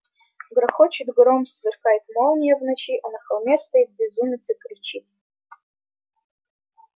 грохочет гром сверкает молния в ночи а на холме стоит безумец и кричит